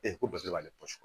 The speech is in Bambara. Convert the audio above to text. Ee ko bari b'ale sɔrɔ